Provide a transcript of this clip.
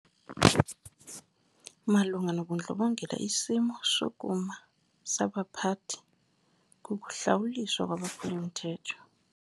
Malunga nobundlobongela isimo sokuma sabaphathi kukuhlawuliswa kwabaphuli-mthetho.